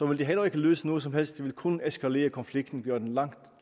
det heller ikke løse noget som helst det vil kun eskalere konflikten og gøre den langt